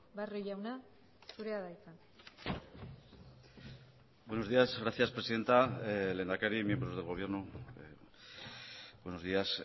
barrio jauna zurea da hitza buenos días gracias presidenta lehendakari miembros del gobierno buenos días